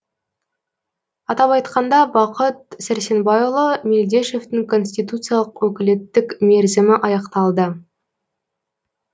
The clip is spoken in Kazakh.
атап айтқанда бақыт сәрсенбайұлы мелдешовтің конституциялық өкілеттік мерзімі аяқталды